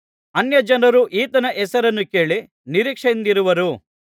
ಅನ್ಯಜನರು ಈತನ ಹೆಸರನ್ನು ಕೇಳಿ ನಿರೀಕ್ಷೆಯಿಂದಿರುವರು